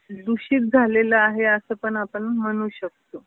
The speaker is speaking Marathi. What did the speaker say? दुषित झालेलं आहे अस पण आपण म्हणू शकतो.